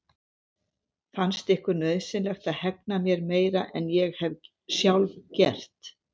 Fannst ykkur nauðsynlegt að hegna mér meira en ég hef sjálf gert?